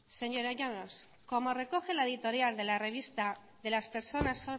señora llanos como recoge la editorial de las revista de las personas